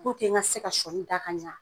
ŋa se ka sɔɔni da ka ɲa.